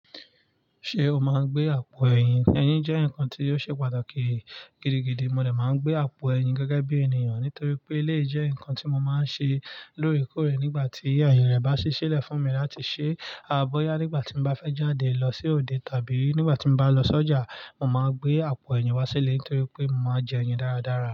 Ṣé o máa ń gbé àpò ẹyin? Eyin jẹ́ nǹkan tí ó ṣe pàtàkì gidigidi. Mo dẹ̀ máa ń gbé àpò ẹyin gẹ́gẹ́ bí ènìyàn nítorí pé lé jẹ́ nǹkan tí mo máa ń ṣe lóòrèkóòrè nígbà tí ayee rẹ̀ bá ṣi ṣẹ́lẹ̀ fún mi láti ṣe bọyá nígbà tí mo bá fẹ́ jáde lọ sí òde tàbí nígbà tí mo bá lọ sọ́jà. Mo máa gbé àpò ẹyin wá sílẹ̀ nítorí pé mo máa jẹ ẹyin dáradára.